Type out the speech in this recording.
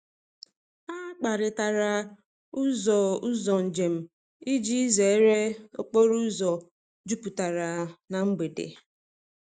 Ha kparịtara ụzọ ụzọ njem iji zere okporo ụzọ jupụtara na mgbede.